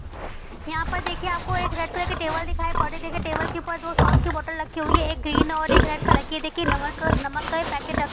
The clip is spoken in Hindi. यहां पर देखिए आपको रेड कलर की टेबल दिखाई पड़ रही है| टेबल के ऊपर दो सॉस की बोतल रखी हुई है एक ग्रीन और रेड कलर की है| यह देखिए नमक का नमक का पैकेट रखा हुआ है।